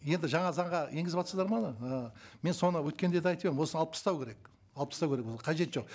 енді жаңа заңға енгізіватсыздар ма оны ыыы мен соны өткенде де айтып едім осыны алып тастау керек алып тастау керек оны қажеті жоқ